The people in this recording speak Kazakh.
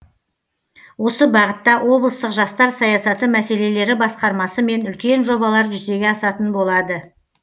осы бағытта облыстық жастар саясаты мәселелері басқармасымен үлкен жобалар жүзеге асатын болады